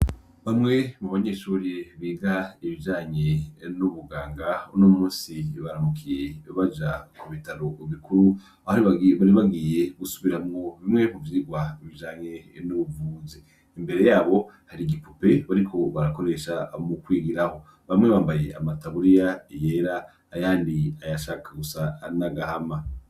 Bamwe mu banyeshuri biga ibijanye n'ubuganga uno musi baramukiye baja ku bitaro bikuru aho bari bagiye gusubiramwo bimwe mu vyirwa bijanye n'ubuvuzi imbere yabo hari igipupe bariko barakoresha mu kwigiraho bamwe bambaye amataburiya yera ayandi ay'ashaka gusa nagahama.